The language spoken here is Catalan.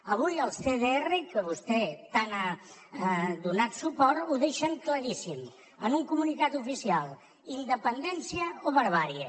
avui els cdr a què vostè tant ha donat suport ho deixen claríssim en un comunicat oficial independència o barbàrie